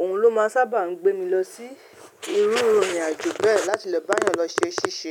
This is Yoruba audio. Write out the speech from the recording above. òun ló máa sábà ń gbé mi lọ sí irú ìrìn àjò bẹ́ẹ̀ láti lọ bá a lọ ṣe ṣíṣe.